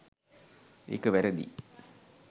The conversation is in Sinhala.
ඒක වැරදියි.